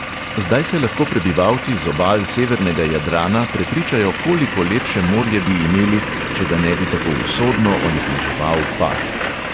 Zdaj se lahko prebivalci z obal severnega jadrana prepričajo, koliko lepše morje bi imeli, če ga ne bi tako usodno onesnaževal pad.